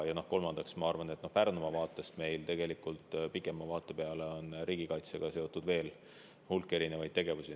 Ja kolmandaks, ma arvan, et Pärnumaal meil tegelikult pikema vaate peale on riigikaitsega seotud veel hulk erinevaid tegevusi.